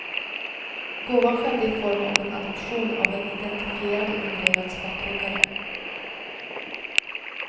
Gåvan skedde i form av en adoption av en identifierad och numrerad späckhuggare.